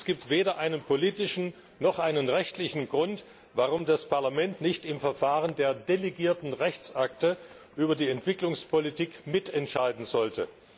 Es gibt weder einen politischen noch einen rechtlichen Grund, warum das Parlament nicht im Verfahren der delegierten Rechtsakte über die Entwicklungspolitik mitentscheiden sollte.